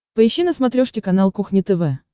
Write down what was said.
поищи на смотрешке канал кухня тв